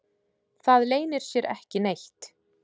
Það leynir sér ekki neitt